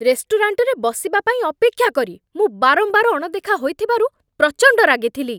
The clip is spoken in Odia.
ରେଷ୍ଟୁରାଣ୍ଟରେ ବସିବା ପାଇଁ ଅପେକ୍ଷା କରି ମୁଁ ବାରମ୍ବାର ଅଣଦେଖା ହୋଇଥିବାରୁ ପ୍ରଚଣ୍ଡ ରାଗିଥିଲି।